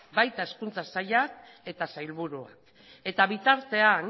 baita hezkuntza sailak eta sailburuak eta bitartean